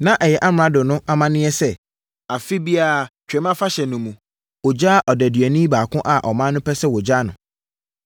Na ɛyɛ amrado no amanneɛ sɛ afe biara Twam Afahyɛ no mu, ɔgyaa odeduani baako a ɔman no pɛ sɛ wɔgyaa no.